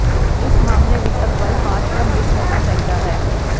ਇਸ ਮਾਮਲੇ ਵਿਚ ਅਗਵਾਈ ਪਾਠਕ੍ਰਮ ਵਿੱਚ ਹੋਣਾ ਚਾਹੀਦਾ ਹੈ